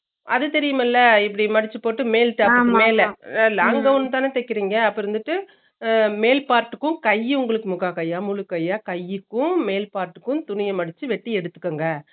அது தெரியும்ல இப்படி மடுச்சு போட்டு மேல் top long gavun தான தேக்கிரிங்க அப்ப இருந்துட்டு அஹ மேல் part க்கு கையும் உங்களுக்கு முக்கா கையா, முழு கையா, கைக்கும் மேல் part க்கும் துணிங்க மடுச்சு வேட்டி எடுத்துக்கோங்க